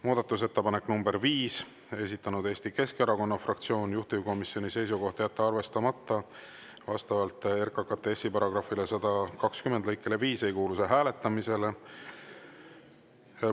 Muudatusettepanek nr 5, esitanud Eesti Keskerakonna fraktsioon, juhtivkomisjoni seisukoht on jätta arvestamata, vastavalt RKKTS‑i § 120 lõikele 5 ei kuulu see hääletamisele.